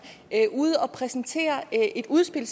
ude at præsentere et udspil